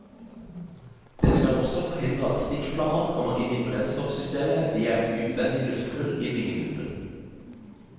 Det skal også forhindre at stikkflammer kommer inn i brennstoffsystemet via et utvendig luftehull i vingetuppen.